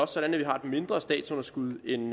sådan at vi har et mindre statsunderskud end